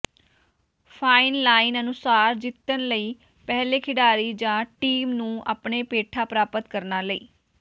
fine line ਅਨੁਸਾਰ ਜਿੱਤਣ ਲਈ ਪਹਿਲੇ ਖਿਡਾਰੀ ਜਾਂ ਟੀਮ ਨੂੰ ਆਪਣੇ ਪੇਠਾ ਪ੍ਰਾਪਤ ਕਰਨ ਲਈ